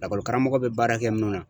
Lakɔlikaramɔgɔ be baara kɛ munnu na.